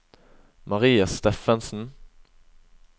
Maria Steffensen